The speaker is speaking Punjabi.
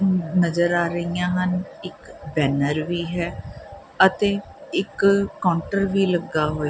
ਨਜ਼ਰ ਆ ਰਹੀਆਂ ਹਨ ਇਕ ਬੈਨਰ ਵੀ ਹੈ ਅਤੇ ਇਕ ਕਾਉਂਟਰ ਵੀ ਲੱਗਾ ਹੋਇਆ--